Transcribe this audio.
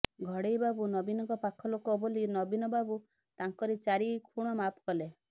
ଘଡ଼େଇ ବାବୁ ନବୀନଙ୍କ ପାଖ ଲୋକ ବୋଲି ନବୀନ ବାବୁ ତାଙ୍କର ଚାରି ଖୁଣ ମାଫ୍ କଲେ